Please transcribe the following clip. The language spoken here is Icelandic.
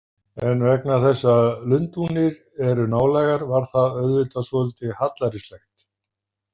En vegna þess að Lundúnir eru nálægar varð það auðvitað svolítið hallærislegt.